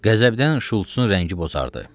Qəzəbdən Şulçsun rəngi bozardı.